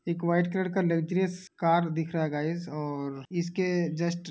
एक white colour का luxurious car दिख रहा है गाइज और इसके जस्ट --